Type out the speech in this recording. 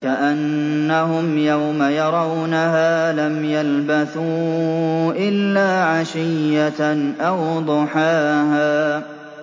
كَأَنَّهُمْ يَوْمَ يَرَوْنَهَا لَمْ يَلْبَثُوا إِلَّا عَشِيَّةً أَوْ ضُحَاهَا